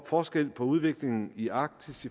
forskel på udviklingen i arktis